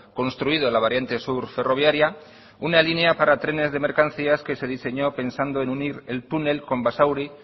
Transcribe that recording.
construido la variante sur ferroviaria una línea para trenes de mercancías que se diseñó pensando en unir el túnel con basauri